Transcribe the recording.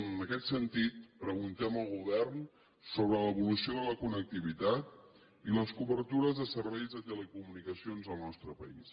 en aquest sentit preguntem al govern sobre l’evolució de la connectivitat i les cobertures de serveis de telecomunicacions al nostre país